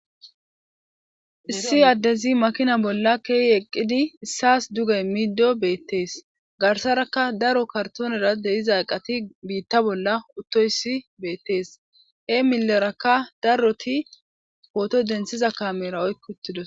issi addezi makina bolla keey eqqidi issaas dugay miiddo beettees garsaraka daro kartoonera deiza aqati biitta bolla uttoyssi beettees e milerakka daroti pooto densiza kamera oykki uttidosona